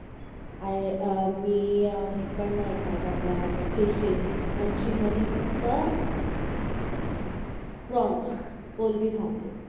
आह अह मी अह मी हे पण नाही खात आपल फिशेस मच्छी मध्ये फक्त प्रॉन्स कोलंबी खाते